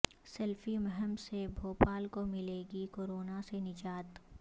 selfie مہم سے بھوپال کو ملے گی کوروناسے نجات